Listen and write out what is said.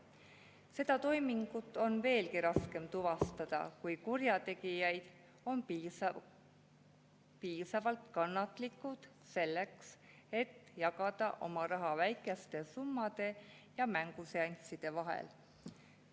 Seda toimingut on veelgi raskem tuvastada, kui kurjategijad on piisavalt kannatlikud selleks, et jagada oma raha väikeste summade ja mänguseansside vahel.